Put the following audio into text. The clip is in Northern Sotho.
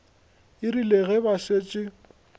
e rile ge ba šetše